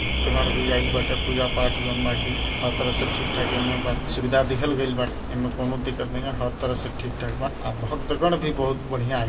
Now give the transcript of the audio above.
दगन भई आईल बाटे पूजा-पाठ हर तरह से ठीक-ठाक इमे बा सुविधा दिखल गईल बा इमें कोनों दिक्कत नहीं है | हर तरह से ठीक-ठाक बा अ दगन भी बहुत बढ़िया ही।